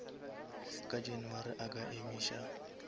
ka january a ka emiša